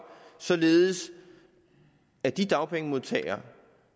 således at de dagpengemodtagere